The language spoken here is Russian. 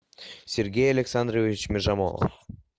сергей александрович межамолов